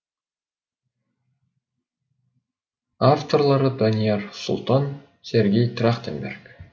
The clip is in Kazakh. авторлары данияр сұлтан сергей трахтенберг